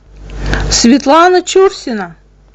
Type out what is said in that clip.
светлана чурсина